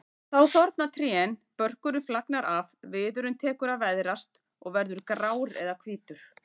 Þá þorna trén, börkurinn flagnar af, viðurinn tekur að veðrast og verður grár eða hvítur.